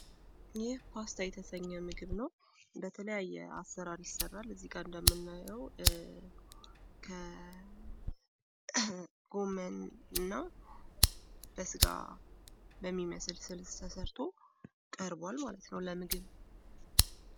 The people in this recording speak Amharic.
ይህ ፓስታ የተሰኘ ምግብ ነው ፤ በተለያየ አሰራል ይሰራል ፤ እዚጋ እንደምናየው ከጎመን እና በስጋ በሚመስል ስልስ ተሰርቶ ቀርቡዋል ማለት ነው ለምግብ።